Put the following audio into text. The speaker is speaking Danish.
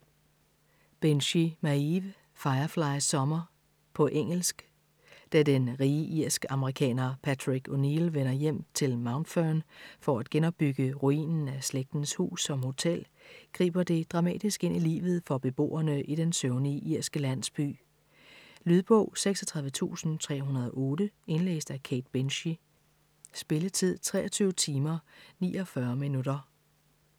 Binchy, Maeve: Firefly summer På engelsk. Da den rige irsk-amerikaner Patrick O'Neill vender hjem til Mountfern for at genopbygge ruinen af slægtens hus som hotel, griber det dramatisk ind i livet for beboerne i den søvnige irske landsby. Lydbog 36308 Indlæst af Kate Binchy Spilletid: 23 timer, 49 minutter.